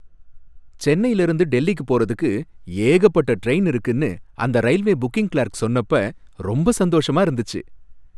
சென்னையில இருந்து டெல்லிக்கு போறதுக்கு ஏகப்பட்ட ட்ரெயின் இருக்குனு அந்த ரயில்வே புக்கிங் கிளார்க் சொன்னப்ப ரொம்ப சந்தோஷமா இருந்துச்சு.